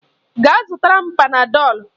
Gaa zụtara m Panadọlu.